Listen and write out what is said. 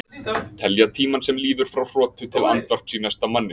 Telja tímann sem líður frá hrotu til andvarps í næsta manni.